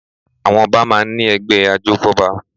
Àwọn Ọba máa ń ní ẹgbẹ́ ajófọ́ba